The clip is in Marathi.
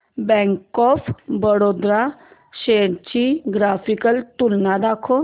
बँक ऑफ बरोडा शेअर्स ची ग्राफिकल तुलना दाखव